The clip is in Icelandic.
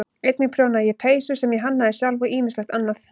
Einnig prjónaði ég peysur sem ég hannaði sjálf og ýmislegt annað.